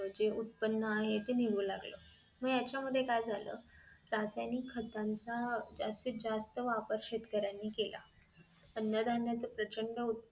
जे उत्पन्न आहे ते निघू लागलं मग ह्याच्या मुळे काय झालं रासायनिक खाताच जास्तीत जास्त वापर शेतकऱ्यांनी केला अन्न धान्य प्रचंड